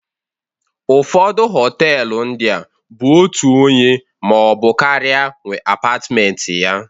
Ụfọdụ họtelu ndịa bụ otu onye maọbụ karịa nwee apatmenti ya